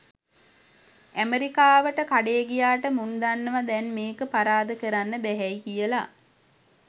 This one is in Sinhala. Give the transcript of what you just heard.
ඇමෙරිකාවට කඩේ ගියාට මුන් දන්නවා දැන් මේක පරාද කරන්න බැහැයි කියලා.